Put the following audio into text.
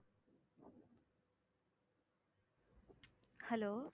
hello